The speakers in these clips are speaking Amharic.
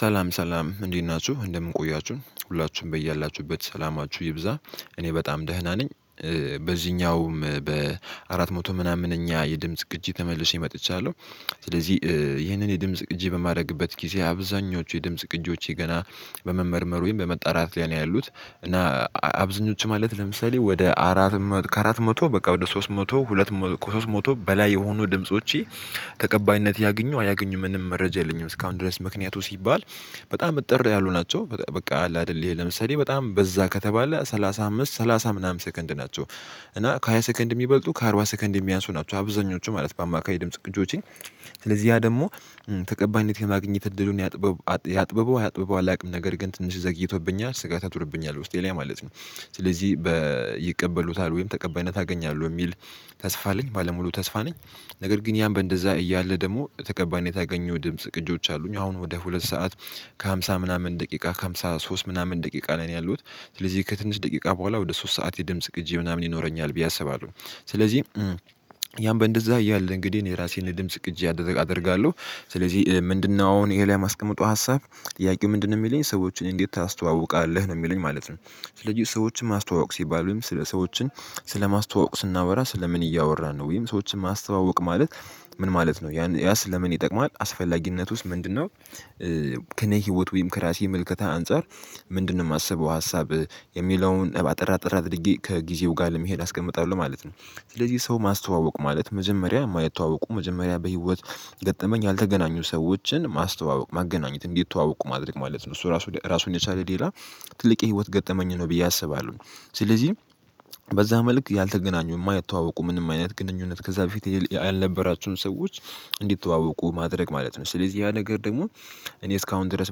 ሰላም ሰላም እንዴት ናችሁ? እንደምን ቆያችሁ? ሁላችሁም በያላችሁበት ሰላማችሁ ይብዛ። እኔ በጣም ደህና ነኝ። በዚህኛውም በአራት መቶ ምናምን እኛ የድምጽ ግጂ ተመልሼ መጥቻለሁ። ስለዚህ ይህንን የድምጽ ቅጂ በማድረግበት ጊዜ አብዛኞቹ የድምጽ ቅጂዎች ገና በመመርመሩ ወይም በመጣራት ሊያደርግ ያሉት። እና አብዝኞቹ ማለት ለምሳሌ ወደ አራት መቶ፣ ከአራት መቶ በቃ ወደ ሶስት መቶ፣ ሁለት፣ ከሶስት ሞቶ በላይ የሆኑ ድምጾቼ ተቀባይነት ያግኙ አያግኙም ምንም መረጃ የለኝም እስካሁን ድረስ። ምክንያቱ ሲባል በጣም እጥር ያሉ ናቸው። በቃ አለ አይደለም ለምሳሌ በጣም በዛ ከተባለ ሰላሳ አምስት፣ ሰላሳ ምናምን ሰከንድ ናቸው። እና ከሃያ ሰከንድ የሚበልጡ፣ ከአርባ ሰከንድ የሚያንሱ ናቸው አብዛኞቹ ማለት በአማካይ ድምጽ ቅጂዎቼ። ስለዚህ ያ ደግሞ ተቀባይነት የማግኘት እድሉን ያጥበው፣ ያጥብበው አያጥብበው አላውቅም። ነገር ግን ትንሽ ዘግይቶብኛል፣ ስጋት አጥብቶብኛል ውስጤ ላይ ማለት ነው። ስለዚህ ይቀበሉታል፣ ወይም ተቀባይነት አገኛለሁ የሚል ተስፋ አለኝ፣ ባለሙሉ ተስፋ ነኝ። ነገር ግን ያም በእንደዛ እያለ ደግሞ ተቀባይነት ያገኘሁ ድምጽ ቅጆች አሉኝ። አሁን ወደ ሁለት ሰዓት ከሃምሳ ምናምን ደቂቃ፣ ከሃምሳ ሶስት ምናምን ደቂቃ ነው ያለውት። ስለዚህ ከትንሽ ደቂቃ በኋላ ወደ ሶስት ሰዓት የድምጽ ቅጂ ምናምን ይኖረኛል ብዬ አስባለሁ። ስለዚህ ያን በእንደዛ እያለ እንግዲህ የራሴን ድምጽ ቅጂ አደርጋለሁ። ስለዚህ ምንድነው አሁን ይሄ ላይ ማስቀመጡ ሀሳብ? ጥያቄው ምንድነው የሚለኝ? ሰዎችን እንዴት ታስተዋውቃለህ? ነው የሚለኝ ማለት ነው። ስለዚህ ሰዎችን ማስተዋወቅ ሲባል ወይም ስለ ሰዎችን ስለ ማስተዋወቅ ስናወራ ስለ ምን እያወራን ነው? ወይም ሰዎችን ማስተዋወቅ ማለት ምን ማለት ነው? ያን ያስ ለምን ይጠቅማል? አስፈላጊነት ውስጥ ምንድነው? ከኔ ህይወት ወይም ከራሴ ምልከታ አንፃር ምንድነው የማስበው ሀሳብ? የሚለውን አጠር አጠር አድርጌ ከጊዜው ለመሄድ አስቀምጣለሁ ማለት ነው። ስለዚህ ሰው ማስተዋወቅ ማለት መጀመሪያ ማይተዋወቁ፣ መጀመሪያ በህይወት ገጠመኝ ያልተገናኙ ሰዎችን ማስተዋወቅ፣ ማገናኘት፣ እንዲተዋወቁ ማድረግ ማለት ነው። እሱ ራሱ ራሱን የቻለ ሌላ ትልቅ የህይወት ገጠመኝ ነው ብዬ አስባለሁ። ስለዚህ በዛ መልክ ያልተገናኙ የማይዋወቁ ምንም አይነት ግንኙነት ከዛ በፊት ያልነበራቸውን ሰዎች እንዲተዋወቁ ማድረግ ማለት ነው። ስለዚህ ያ ነገር ደግሞ እኔ እስካሁን ድረስ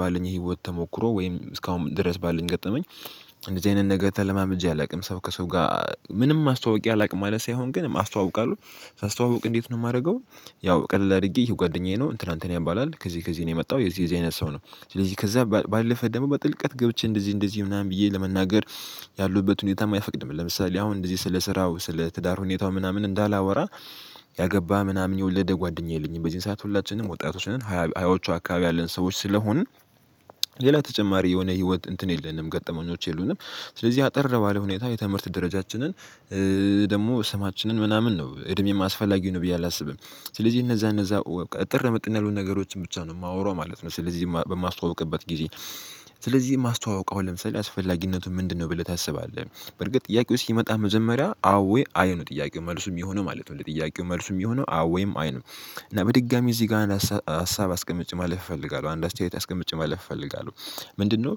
ባለኝ ህይወት ተሞክሮ ወይም እስካሁን ድረስ ባለኝ ገጠመኝ እንደዚህ አይነት ነገር ተለማምጄ አላውቅም። ሰው ከሰው ጋር ምንም አስተዋውቄ አላውቅም ማለት ሳይሆን ግን አስተዋውቃለሁ። ሳስተዋውቅ እንዴት ነው የማደርገው? ያው ቀለል አድርጌ ይሄ ጓደኛዬ ነው። እንትና፣ እንትና ያባላል። ከዚህ፣ ከዚህ ነው የመጣው። የዚህ፣ የዚህ አይነት ሰው ነው። ስለዚህ ከዛ ባለፈ ደግሞ በጥልቀት ገብቼ እንደዚህ፣ እንደዚህ ምናምን ብዬ ለመናገር ያለሁበት ሁኔታም አይፈቅድም። ለምሳሌ አሁን እንደዚህ ስለ ስራው፣ ስለ ትዳር ሁኔታው ምናምን እንዳላወራ ያገባ ምናምን የወለደ ጓደኛ የለኝም። በዚህን ሰዓት ሁላችንም ወጣቶች ነን፣ ሀያዎቹ አካባቢ ያለን ሰዎች ስለሆንን ሌላ ተጨማሪ የሆነ ህይወት እንትን የለንም ገጠመኞች የሉንም። ስለዚህ አጠር ባለ ሁኔታ የትምህርት ደረጃችንን ደግሞ ስማችንን ምናምን ነው እድሜም አስፈላጊው ነው ብዬ አላስብም። ስለዚህ እነዛ፣ እነዛ እጥር ምጥን ያሉ ነገሮችን ብቻ ነው የማወራው ማለት ነው ስለዚህ በማስተዋውቅበት ጊዜ። ስለዚህ የማስተዋውቀው ለምሳሌ አስፈላጊነቱን ምንድነው ብለህ ታስባለህ? በርግጥ ጥያቄው ሲመጣ መዘመሪያ አዎ አይ ነው ጥያቄው መልሱም የሆነ ማለት ነው ለጥያቄው መልሱም የሆነ አዎ ወይም አይ ነው። እና በድጋሚ እዚህ ጋር ሀሳብ አስቀምጭ ማለፍ እፈልጋለሁ። አንድ አስተያየት አስቀምጭ ማለፍ እፈልጋለሁ። ምንድነው?